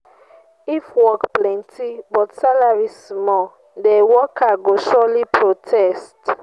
if work plenty but salary small de worker go surely protest.